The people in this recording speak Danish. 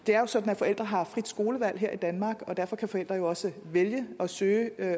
er jo sådan at forældre har frit skolevalg her i danmark og derfor kan forældre jo også vælge at søge